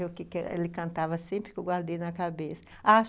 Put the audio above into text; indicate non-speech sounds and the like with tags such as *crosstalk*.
*unintelligible* Ele cantava sempre que eu guardei na cabeça.